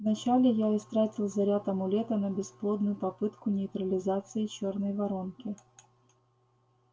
вначале я истратил заряд амулета на бесплодную попытку нейтрализации чёрной воронки